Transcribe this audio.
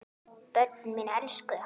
Börnin mín elskuðu hann.